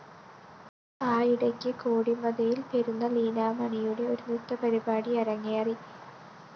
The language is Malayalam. ആയിടയ്ക്കു കോടിമതയില്‍ പെരുന്ന ലീലാമണിയുടെ ഒരു നൃത്തപരിപാടി അരങ്ങേറി